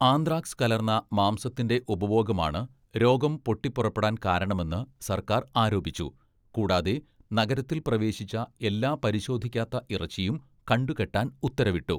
Anthrax കലർന്ന മാംസത്തിന്റെ ഉപഭോഗമാണ് രോഗം പൊട്ടിപ്പുറപ്പെടാൻ കാരണമെന്ന് സർക്കാർ ആരോപിച്ചു, കൂടാതെ നഗരത്തിൽ പ്രവേശിച്ച എല്ലാ പരിശോധിക്കാത്ത ഇറച്ചിയും കണ്ടുകെട്ടാൻ ഉത്തരവിട്ടു.